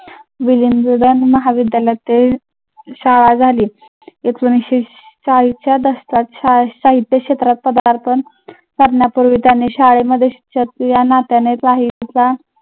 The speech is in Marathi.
महाविद्यालयातील शाळा झाली. एकोणविसशे चाळीस च्या दशकात शाहिस्ता इथे करण्यापूर्वी त्यांनी शाळेमध्ये